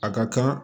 A ka kan